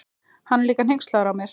Hann er líka hneykslaður á mér.